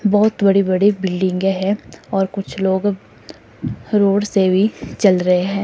बहोत बड़े बड़े बिल्डिंगे हैं और कुछ लोग रोड से भी चल रहे हैं।